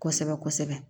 Kosɛbɛ kosɛbɛ